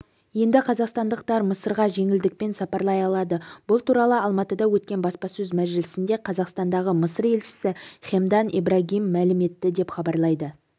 енді қазақстандықтар мысырға жеңілдікпен сапарлай алады бұл туралы алматыда өткен баспасөз мәжілісінде қазақстандағы мысыр елшісі хемдан ибрагим мәлім етті деп хабарлайды